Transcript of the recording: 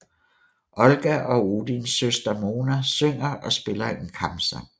Olga og Odins søster Mona synger og spiller en kampsang